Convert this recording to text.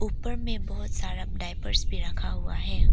ऊपर में बहोत सारा डायपर्स भी रखा हुआ है।